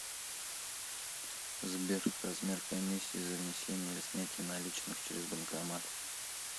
сбер размер комиссии за внесение или снятие наличных через банкомат